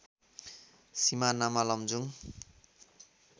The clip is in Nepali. सिमानामा लमजुङ